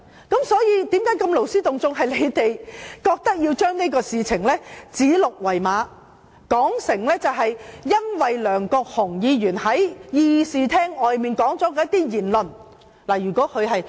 那便是因為他們要指鹿為馬，將這件事說成是因為梁國雄議員在議事廳外發表了一些言論引起的......